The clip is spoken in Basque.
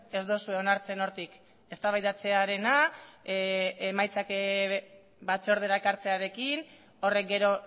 ez duzue onartzen hortik eztabaidatzearena emaitzak batzordera ekartzearekin horrek gero